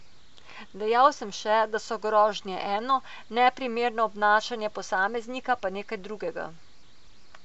Dejal sem še, da so grožnje eno, neprimerno obnašanje posameznika pa nekaj drugega.